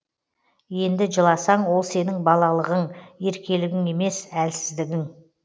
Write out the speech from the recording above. енді жыласаң ол сенің балалығын еркелігің емес әлсіздігің